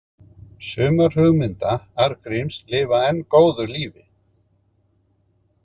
Sumar hugmynda Arngríms lifa enn góðu lífi.